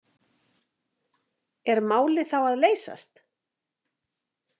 Er málið þá að leysast?